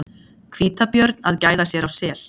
Hvítabjörn að gæða sér á sel.